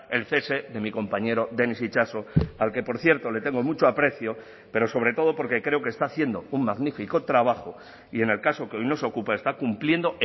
el cese de mi compañero denis itxaso al que por cierto le tengo mucho aprecio pero sobre todo porque creo que está haciendo un magnífico trabajo y en el caso que hoy nos ocupa está cumpliendo